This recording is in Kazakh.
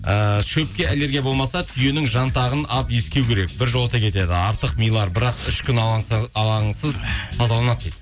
ііі шөпке аллергия болмаса түйенің жантағын алып иіскеу керек біржолата кетеді артық милар бірақ ішкі алаңсыз тазаланады дейді